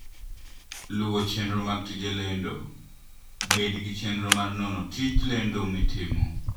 Luwo Chenro mag Tije Lendo: Bed gi chenro mar nono tij lendo mitimo.